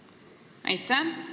Suur tänu!